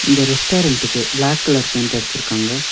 இந்த ரெஸ்டாரண்ட்க்கு black colour paint அடிச்சிருக்காங்க.